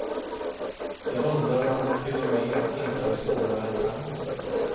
Jag undrar om det till och med inte är svårare än tango.